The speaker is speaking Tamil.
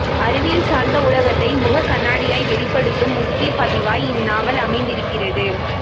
அறிவியல் சார்ந்த உலகத்தை முகக்கண்ணாடியாய் வெளிப்படுத்தும் முக்கியப் பதிவாய் இந்நாவல் அமைந்திருக்கிறது